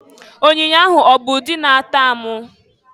Onyoonyo ahụ ọ bụ ụdi na-atọ amụ?